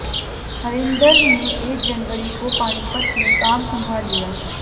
हरिंदर ने एक जनवरी को पानीपत में काम संभाल लिया